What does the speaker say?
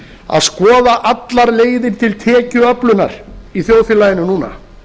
að skoða allar leiðir til tekjuöflunar í þjóðfélaginu núna